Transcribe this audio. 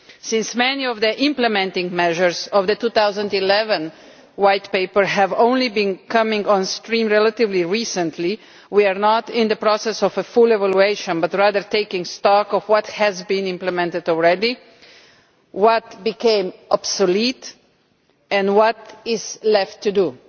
Since many of the implementing measures of the 2011 White Paper have only been coming on stream relatively recently, we are not in the process of doing a full evaluation but rather of taking stock of what has already been implemented, what has become obsolete and what is left to do.